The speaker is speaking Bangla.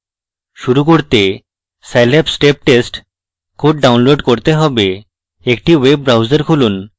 শুরু করতে scilab step test code download করতে have একটি web browser খুলুন